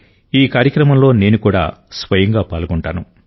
ఈ కార్యక్రమంలో నేను కూడా స్వయంగా పాల్గొంటాను